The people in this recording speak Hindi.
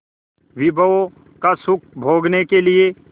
विभवों का सुख भोगने के लिए